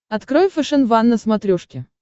открой фэшен ван на смотрешке